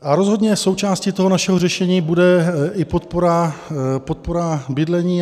A rozhodně součástí toho našeho řešení bude i podpora bydlení.